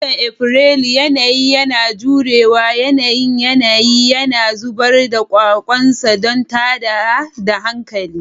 A watan Afrilu, yanayi yana jure wa yanayin yanayi, yana zubar da kwakwansa don tada da hankali.